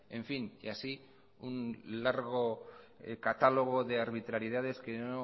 en fin que así un largo catálogo de arbitrariedades que no